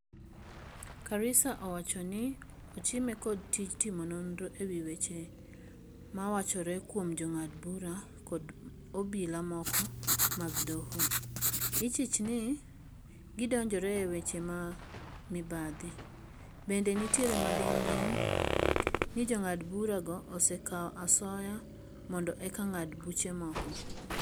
Karisa owacho ni ochime kod tij timo nonro ewi weche ma wachore kuom jongad bura kad obila moko mag doho. Ichich ni gidonjore e weche ma mibadhi. Bende nitiere malingling ni jongad bura go osekao asoya mondo eka ngad buche moko.